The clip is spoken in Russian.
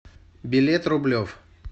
билет рублев